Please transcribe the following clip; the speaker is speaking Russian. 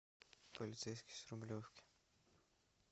полицейский с рублевки